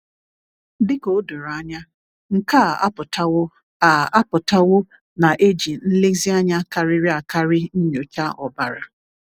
"Dị ka o doro anya, nke a apụtawo a apụtawo na e ji nlezianya karịrị akarị nyochaa ọbara."